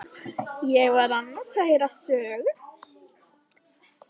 Ég var annars að heyra sögu.